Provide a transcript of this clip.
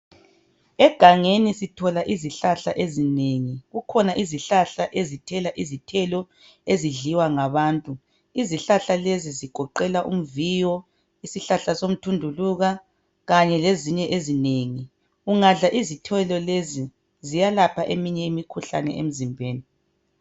Egangeni sithola izihlahla ezinengi, kukhona izihlahla ezithela izithelo ezidliwa ngabantu. Izihlahla lezi zigoqela umviyo, isihlahla somthunduluka kanye lezinye ezinengi. Ungadla izithelo lezi ziyelapha eminye imikhuhlane emzimbeni.